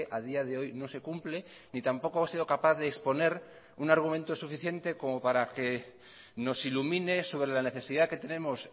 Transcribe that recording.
a día de hoy no se cumple ni tampoco ha sido capaz de exponer un argumento suficiente como para que nos ilumine sobre la necesidad que tenemos